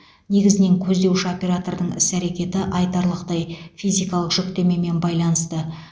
негізінен көздеуші оператордың іс әрекеті айтарлықтай физикалық жүктемемен байланысты